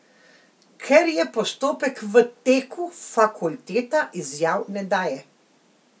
Ker je postopek v teku, fakulteta izjav ne daje.